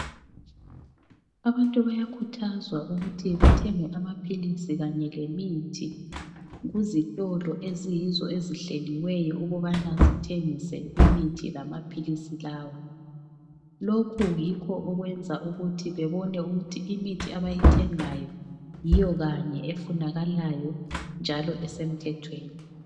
Abantu bayakhuthazwa ukuthi bethenge amaphilisi kanye lemithi kuzitolo eziyizo ezihleliweyo ukubana zithengise imithi lamaphilisi lawa. Lokhu yikho okwenza ukuthi bebone ukuthi imithi abayithengayo yiyo kanye efunakalayo njalo esemthethweni.